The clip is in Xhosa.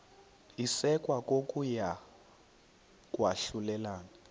isekwa kokuya kwahlulelana